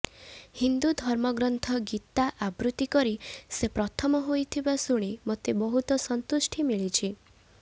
ହିନ୍ଦୁ ଧର୍ମଗ୍ରନ୍ଥ ଗୀତା ଆବୃତ୍ତି କରି ସେ ପ୍ରଥମ ହୋଇଥିବା ଶୁଣି ମୋତେ ବହୁତ ସନ୍ତୁଷ୍ଟି ମିଳିଛି